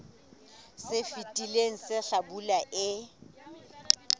se fetileng sa hlabula e